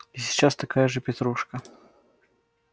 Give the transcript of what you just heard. и сейчас такая же петрушка